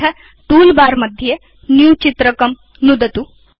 अथ टूलबार मध्ये न्यू चित्रकं नुदतु